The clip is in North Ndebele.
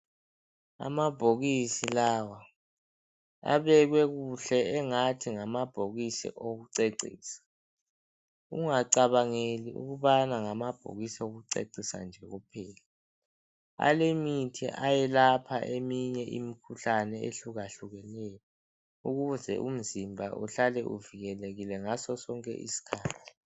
Amabhokisi lawa. Abekwe kuhle, engathi ngamabhokisi okucecisa. Ungacabangeli ukubana ngamabhokisi okucecisa nje kuphela. Alemithi ayelapha eminye imikhuhlane, eyehlukehlukeneyo. Ukuze umzimba uhlale uvikelekile, ngaso sonke isikhathi.